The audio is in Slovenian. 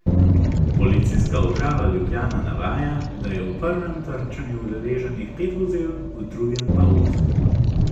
Policijska uprava Ljubljana navaja, da je v prvem trčenju udeleženih pet vozil, v drugem pa osem.